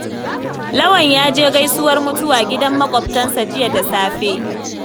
Lawan ya je gaisuwar mutuwa gidan maƙwabtansa jiya da safe.